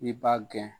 I b'a gɛn